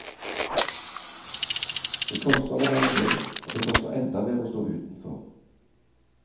Det koster å være med, men det koster enda mer å stå utenfor.